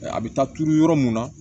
A bɛ taa turu yɔrɔ mun na